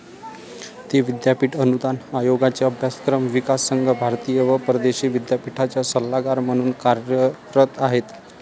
ते विद्यापिठ अनुदान आयोगाचे अभ्यासक्रम, विकास संघ, भारतीय व परदेशी विद्यापिठांच्या सल्लागार म्हणून कार्यरत आहेत.